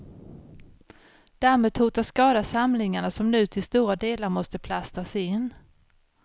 Dammet hotar skada samlingarna som nu till stora delar måste plastas in.